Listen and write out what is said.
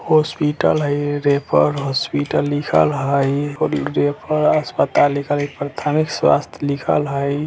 हॉस्पिटल हई referral hospital लिखल हई अस्पताल लिखल हई प्राथमिक स्वास्थ्य लिखल हई।